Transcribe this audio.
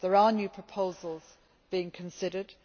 There are new proposals being considered.